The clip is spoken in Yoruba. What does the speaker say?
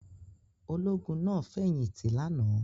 Ológun náà fẹ̀yìntì lánàá?